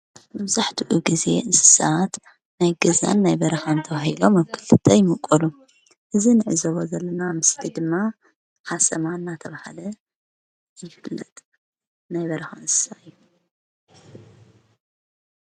ብዛሕ ድኡ ጊዜ እንስሳዓት ናይ ገዛን ናይ በረኻእንተውሂሎ መክልትቲ ኣይምቖሉ እዝ ንዕዘበ ዘለና ኣምስቲ ድማ ሓሰማ እናተብሃለ ይፍለጥ።